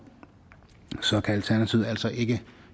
kan alternativet altså ikke